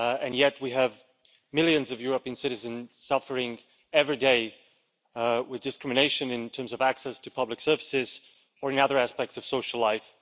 Yet, we have millions of European citizens suffering every day with discrimination in terms of access to public services, or in other aspects of social life.